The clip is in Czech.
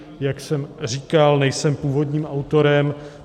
Jak jsem říkal, nejsem původním autorem.